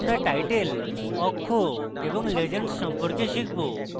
এখন আমরা টাইটেল অক্ষ এবং legends সম্পর্কে শিখি